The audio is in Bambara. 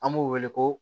An b'u wele ko